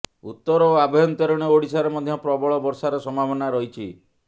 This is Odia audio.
ଉତ୍ତର ଓ ଆଭ୍ୟନ୍ତରୀଣ ଓଡିଶାରେ ମଧ୍ୟ ପ୍ରବଳ ବର୍ଷାର ସମ୍ଭାବନା ରହିଛି